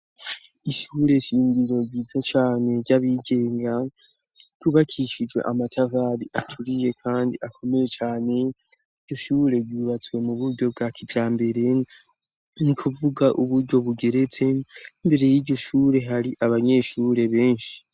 ishure shingiro ryiza cane ry'abigenga ryubakishije amatafari aturiye kandi akomeye cane iryushure ryubatswe muburyo bwa kijambere ni kuvuga uburyo bugeretse mbere y'iryo shure hari abanyeshure benshi